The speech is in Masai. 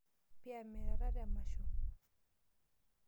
Paa miatata emasho?